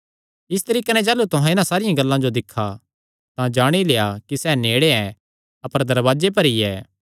इस तरीके नैं जाह़लू तुहां इन्हां सारियां गल्लां जो दिक्खा तां जाणी लेआ कि सैह़ नेड़े ऐ अपर दरवाजे पर ई ऐ